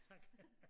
Tak